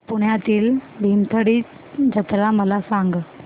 पुण्यातील भीमथडी जत्रा मला सांग